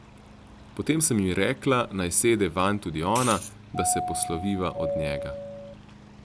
Potem sem ji rekla, naj sede vanj tudi ona, da se posloviva od njega.